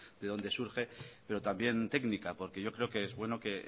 de donde surge pero también técnica porque yo creo que es bueno que en